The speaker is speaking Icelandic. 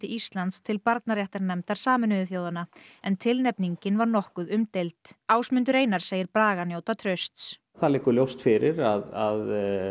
Íslands til barnaréttarnefndar Sameinuðu þjóðanna en tilnefningin var nokkuð umdeild Ásmundur segir Braga njóta trausts það liggur ljóst fyrir að